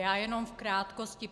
Já jenom v krátkosti.